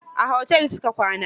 A hotel su ka kwana.